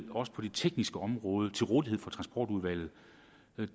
også på det tekniske område til rådighed for transportudvalget